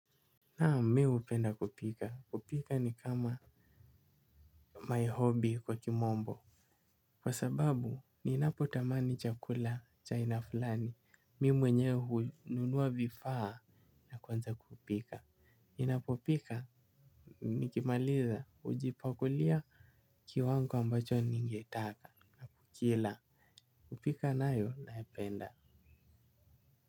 Naam mimi hupenda kupika. Kupika ni kama my hobby kwa kimombo. Kwa sababu ninapotamani chakula cha haina fulani. Mimi mwenyewe hununua vifaa na kuanza kupika. Ninapopika nikimaliza hujipakulia kiwango ambacho ningetaka. Kila. Kupika nayo naipenda.